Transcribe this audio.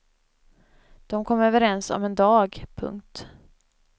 De kom överens om en dag. punkt